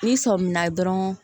N'i sɔmina dɔrɔn